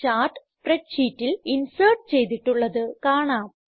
chart spread ഷീറ്റിൽ insert ചെയ്തിട്ടുള്ളത് കാണാം